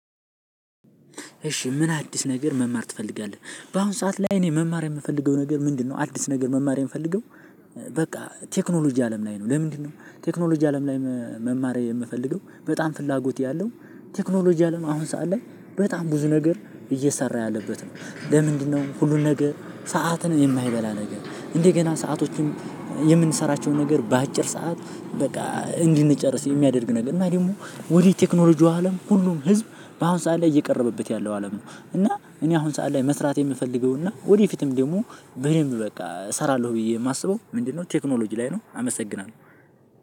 እሺ ምን አዲስ ነገር መማር ትፈልጋለህ? በአሁን ሰዓት ላይ እኔ መማር የምፈልገው ነገር ምንድነው? አዲስ ነገር መማር የምፈልገው በቃ ቴክኖሎጂ አለም ላይ ነው። ለምንድነው? ቴክኖሎጂ አለም ላይ መማር የምፈልገው በጣም ፍላጎት ያለው ቴክኖሎጂ አለም አሁን ሰዓት ላይ በጣም ብዙ ነገር እየሰራ ያለበት ነው። ለምንድነው ሁሉን ነገር ሰዓትን የማይበላ ነገር እንዴ? ገና ሰአቶችን የምንሰራቸውን ነገር በአጭር ሰዓት በቃ እንድንጨርስ የሚያደርግ ነገር እና ደግሞ ወደ ቴክኖሎጂው አለም ሁሉም ህዝብ በአሁን ሰዓት ላይ እየቀረበበት ያለው አለም ነው። እና እኔ አሁን ሰዓት ላይ መስራት የምፈልገው እና ወደፊትም ደሞ በደንብ በቃ እሰራለሁ ብዬ ማስበው ምንድነው ቴክኖሎጂ ላይ ነው። አመሰግናለሁ።